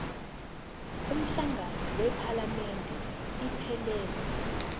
umhlangano wephalamende iphelele